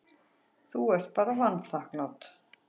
Þú ert bara vanþakklát.